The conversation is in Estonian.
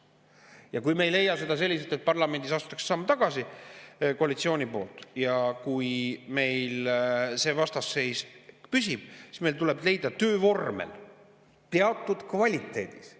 Ja kui me ei leia, et parlamendis astutakse samm tagasi koalitsiooni poolt, ja kui see vastasseis püsib, siis meil tuleb leida töövorm teatud kvaliteedis.